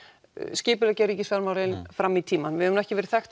skipuleggja ríkisfjármálin fram í tímann við höfum ekki verið